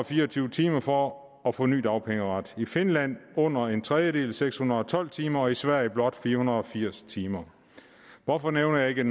fire og tyve timer for at få ny dagpengeret i finland under en tredjedel seks hundrede og tolv timer og i sverige blot fire hundrede og firs timer hvorfor nævner jeg ikke